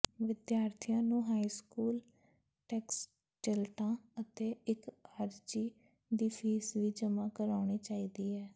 ਵਿਦਿਆਰਥੀਆਂ ਨੂੰ high school ਟੈਕਸਟਿਲਟਾਂ ਅਤੇ ਇੱਕ ਅਰਜ਼ੀ ਦੀ ਫੀਸ ਵੀ ਜਮ੍ਹਾਂ ਕਰਾਉਣੀ ਚਾਹੀਦੀ ਹੈ